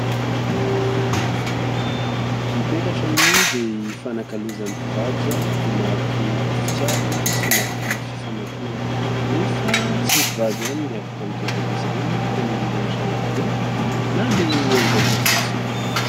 Ny petratra moa dia hifanankalozan'ny mpivady ho mariky ny fitiavana sy ho mariky ny fifamatorana, nefa tsy ny mpivady ihany no afaka mitondra an'izy ireny fa ny olon-drehetra ihany koa na dia hianjaika fotsiny aza.